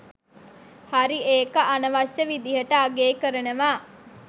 හරි ඒක අනවශ්‍ය විදිහට අගේ කරනවා.